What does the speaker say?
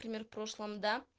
пример прошлом да